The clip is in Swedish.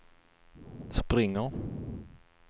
springer